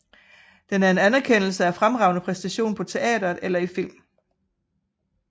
Den er en anerkendelse af fremragende præstation på teatret eller i film